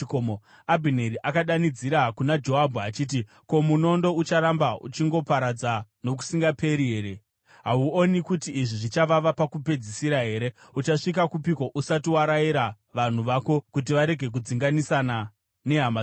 Abhineri akadanidzira kuna Joabhu achiti, “Ko, munondo ucharamba uchingoparadza nokusingaperi here? Hauoni kuti izvi zvichavava pakupedzisira here? Uchasvika kupiko usati warayira vanhu vako kuti varege kudzinganisana nehama dzavo?”